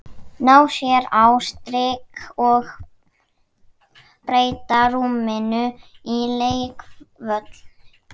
Ná sér á strik og breyta rúminu í leikvöll.